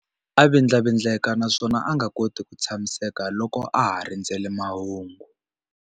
A vindlavindleka naswona a nga koti ku tshamiseka loko a ha rindzerile mahungu.